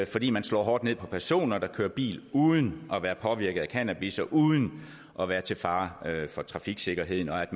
fordi man slår hårdt ned på personer der kører bil uden at være påvirket af cannabis og uden at være til fare for trafiksikkerheden og at